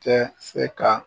Tɛ se ka